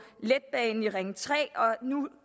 ring tre og nu